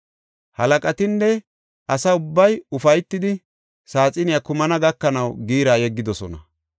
Halaqatinne asa ubbay ufaytidi saaxiney kumana gakanaw giira yeggidosona.